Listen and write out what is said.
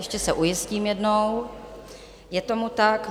Ještě se ujistím jednou - je tomu tak.